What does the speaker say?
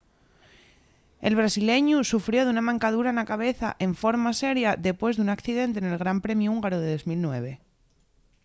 el brasileñu sufrió d’una mancadura na cabeza enforma seria depués d’un accidente nel gran premiu húngaru de 2009